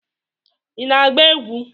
ị na-agba egwu?